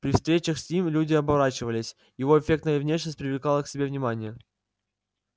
при встречах с ним люди оборачивались его эффектная внешность привлекала к себе внимание